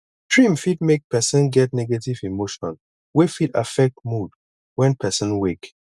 dream fit make person get negative emotion wey fit affect mood when person wake